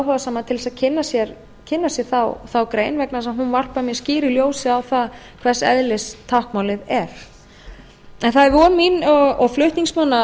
áhugasama til þess að kynna sér þá grein vegna þess að hún varpar mjög skýru ljósi á það hvers eðlis táknmálið er það er von mín og flutningsmanna